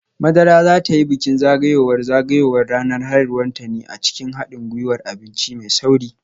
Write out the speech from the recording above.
Madara za ta yi bikin zagayowar zagayowar ranar haihuwarta ne a cikin hadin gwiwar abinci mai sauri